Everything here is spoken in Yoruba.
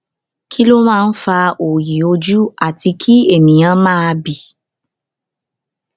kí ló máa ń fa òòyì ojú àti kí ènìyàn máa bì